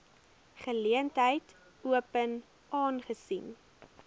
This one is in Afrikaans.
geleentheid open aangesien